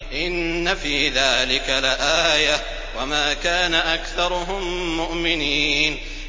إِنَّ فِي ذَٰلِكَ لَآيَةً ۖ وَمَا كَانَ أَكْثَرُهُم مُّؤْمِنِينَ